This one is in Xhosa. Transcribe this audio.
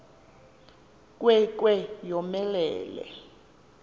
nkwe nkwe yomelele